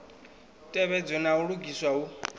tevhedzwe na u lugiswa hu